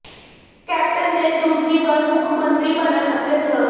captain ਦੇ ਦੂਸਰੀ ਵਾਰ ਮੁੱਖ ਮੰਤਰੀ ਬਨਣ ਅਤੇ ਸ